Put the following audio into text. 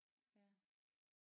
Ja